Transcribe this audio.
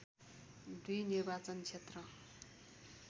२ निर्वाचन क्षेत्र